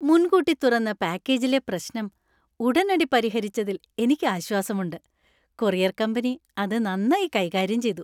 മുൻകൂട്ടി തുറന്ന പാക്കേജിലെ പ്രശ്നം ഉടനടി പരിഹരിച്ചതിൽ എനിക്ക് ആശ്വാസമുണ്ട്. കൊറിയർ കമ്പനി അത് നന്നായി കൈകാര്യം ചെയ്തു.